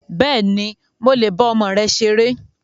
Bẹ́ẹ̀ni, mo le bá ọmọ rẹ ṣeré